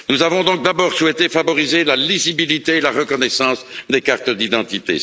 Nous avons donc d'abord souhaité favoriser la lisibilité et la reconnaissance des cartes d'identité.